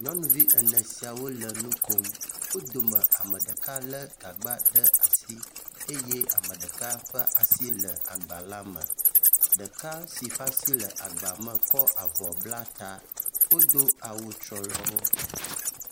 Nyɔnuvi ene siawo le nu km. Wo dome ame ɖeka le gagba ɖe asi eye ame ɖeka ƒe asi le agba la me. Ɖeka si ƒe asi le agba me kɔ avɔ bla ta. Wodo awu trɔlɔ wo.